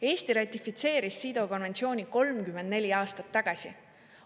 Eesti ratifitseeris CEDAW konventsiooni 34 aastat tagasi.